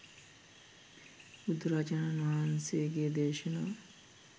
බුදුරජාණන් වහන්සේගේ දේශනා